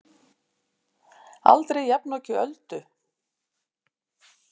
Aldrei jafnoki Öldu.